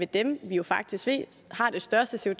dem vi jo faktisk ved har det største